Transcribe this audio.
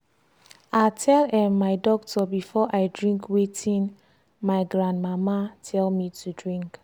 i tell um my doctor before i drink watin my gran mama tell me to drink.